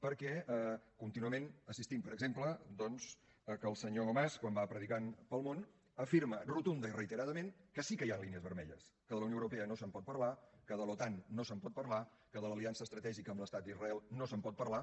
perquè contínuament assistim per exemple doncs a que el senyor mas quan va predicant pel món afirma rotundament i reiteradament que sí que hi han línies vermelles que de la unió europea no se’n pot parlar que de l’otan no se’n pot parlar que de l’aliança estratègica amb l’estat d’israel no se’n pot parlar